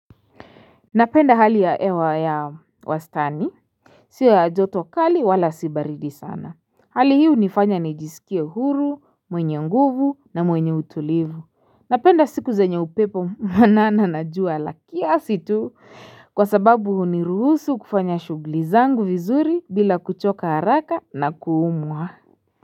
Napenda hali ya ewa ya wastani Sio ya joto kali wala si baridi sana Hali hi unifanya nijisikie huru, mwenye nguvu na mwenye utulivu Napenda siku zenye upepo mwanana na jua la kiasi tu kwa sababu huniruhusu kufanya shuguli zangu vizuri bila kuchoka haraka na kuumwa.